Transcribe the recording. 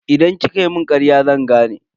Idan kika mun karya zan gane.